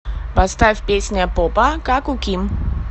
поставь песня попа как у ким